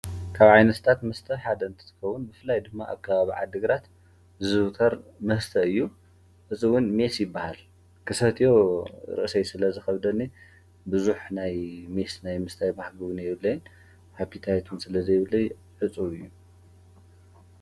ካብ ዓይንስታት ምስተ ሓደ ንትትከውን ብፍላይ ድማ ኣካባ ብ ዓድግራት ዝውተር መስተ እዩ እፁውን ሜስ ይበሃል ።ክሰትዮ ርእሰይ ስለ ዝኸብደኒ ብዙኅ ናይ ሜስ ናይ ምስተይ ማሕግቡ ነየብለይን ኃቢታየቱን ስለ ዘይብለይ ዕፁ እዩ።